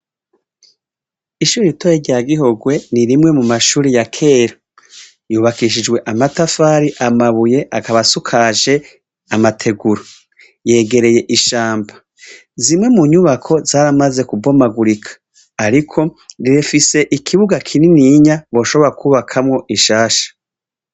Ishure ritoya rya Gihorwe, ni rimwe mu mashuri ya kera. Yubakishijwe amatafari, amabuye, akaba asukajwe amategura. Yegereye ishamba. Rimwe mu nyubako, zaramaze kubomagurika. Ariko rifise ikibuga kinininya boshobora kwubakamwo zishasha.